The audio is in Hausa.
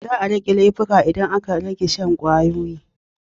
Za a rage aikata laifi idan aka rage shan ƙwayoyi.